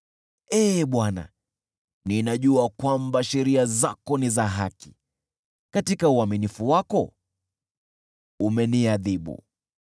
Ee Bwana , ninajua kwamba sheria zako ni za haki, katika uaminifu wako umeniadhibu.